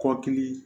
Kɔkili